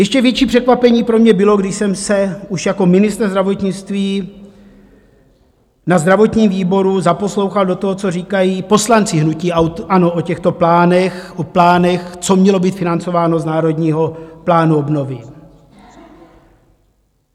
Ještě větší překvapení pro mě bylo, když jsem se už jako ministr zdravotnictví na zdravotním výboru zaposlouchal do toho, co říkají poslanci hnutí ANO o těchto plánech, o plánech, co mělo být financováno z Národního plánu obnovy.